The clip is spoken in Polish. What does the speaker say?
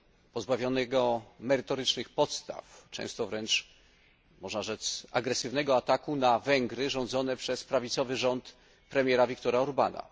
pozbawionego merytorycznych podstaw, często wręcz można rzec agresywnego ataku na Węgry rządzone przez prawicowy rząd premiera Viktora Orbána.